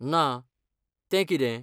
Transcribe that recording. ना, तें कितें?